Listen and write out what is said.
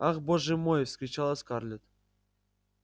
ах боже мой вскричала скарлетт